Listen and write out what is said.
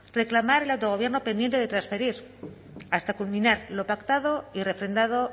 reclamar el autogobierno pendiente de transferir hasta culminar lo pactado y refrendado